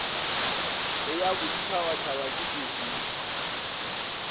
le ya boditšhabatšhaba ke dismme